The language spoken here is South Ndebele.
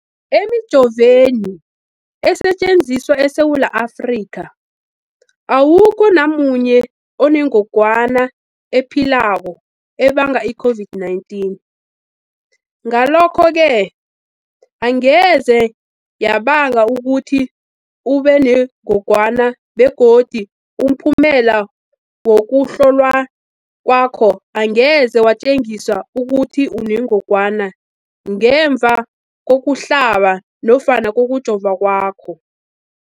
Emijoveni esetjenziswa eSewula Afrika, awukho namunye onengog wana ephilako ebanga i-COVID-19. Ngalokho-ke angeze yabanga ukuthi ubenengogwana begodu umphumela wokuhlolwan kwakho angeze watjengisa ukuthi unengogwana ngemva kokuhlaba nofana kokujova kwakho.